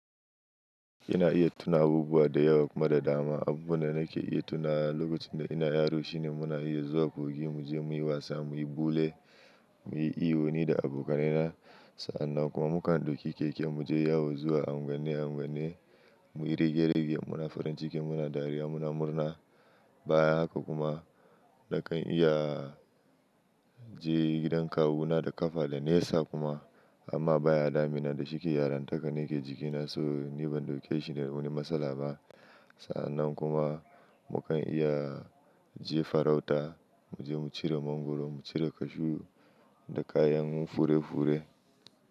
Ina iya tuna abubuwa da yawa kuma da dama. Abubuwan da nake iya tuna lokacin da ina yaro shine muna iya zuwa kogin mu je muyi wasa, muyi bule, muyi iyo ni da abokanai na. Sannan kuma mu kan ɗauki keke mu je yawo zuwa anguwnni-anguwanni muyi rige-rige, muna farin ciki, muna dariya, muna murna. Baya haka kuma nakan iya je gidan kawu na da kafa da nesa kuma. Amma baya damina da shi ke yara nakan yi jiki na so ni ban ɗauki shi da wani matsala ba. Sannan kuma mu kan iya je farauta, mu je mu cire mangwaro, mu cire cashew da kayan fure-fure.